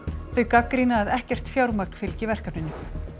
þau gagnrýna að ekkert fjármagn fylgi verkefninu